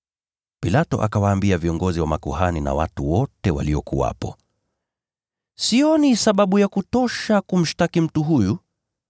Pilato akawaambia viongozi wa makuhani na watu wote waliokuwepo, “Sioni sababu ya kutosha kumshtaki mtu huyu!”